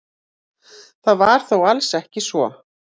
Það var þó alls ekki svo.